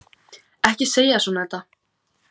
Ekki segja svona, Edda